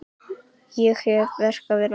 Ég hef hér verk að vinna.